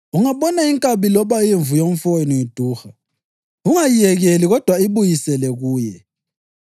“Ungabona inkabi loba imvu yomfowenu iduha, ungayiyekeli kodwa ibuyisele kuye.